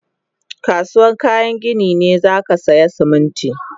Kasuwan kayan gini ne zakasaya Siminti